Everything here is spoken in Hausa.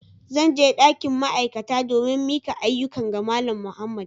Zan je dakin ma'aikata domin mika ayyukan ga Malam Muhammad.